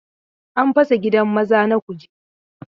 An fasa gidan maza na Kuje.